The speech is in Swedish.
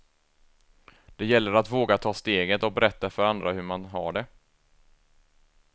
Det gäller att våga ta steget och berätta för andra hur man har det.